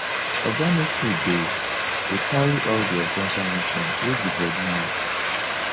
organic food dey dey carry all di essential nutrients wey di body need